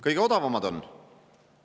Kõige odavamad on!